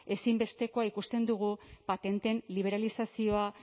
ezinbestekoa ikusten dugu patenteen liberalizazioa